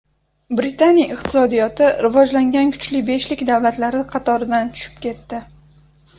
Britaniya iqtisodiyoti rivojlangan kuchli beshlik davlatlari qatoridan tushib ketdi.